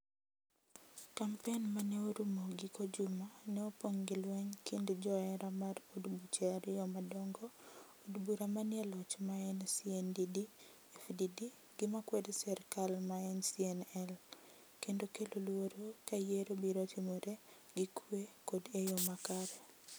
kampen ma ne orumo giko juma ne opong' gi lweny kind joera mar od buche ariyo madong'o ,od bura manie loch maen CNDD FDD gi makwedo serkal maen CNL, kendo kelo luoro ka yiero biro timore gi kwe kod e yo makare.